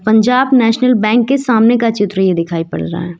Punjab National Bank के सामने का चित्र ये दिखाई पड़ रहा है।